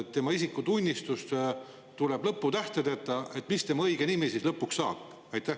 Kui tema isikutunnistusele tuleb lõputähtedeta, mis tema õigest nimest siis lõpuks saab?